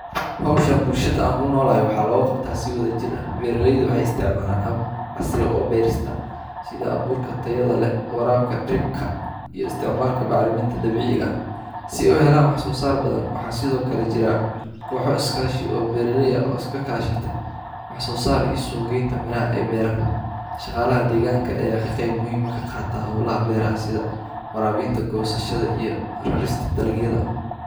Hoshan bulshaada an kunolahay waxaa loga qabtaa si wadha jir ah beera leyda waxee isticmalan hab casri ah oo beerista sitha aburka tahada leh warabka dirta iyo istimalka bacriminta dabiciga ah si ee u helan wax sosar badan waxaa sithokale jira koxa iskashi ah oo beera ley ah oo iska kashate wax sosar iyo suqgeta miraha ee bira shaqala aya ka qima muhiim ah ka qata holaha beeraha sitha warabinta goshashada iyo rarista dalagyaada.